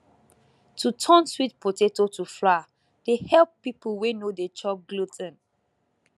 to turn sweet potato to flour dey help people wey no dey chop glu ten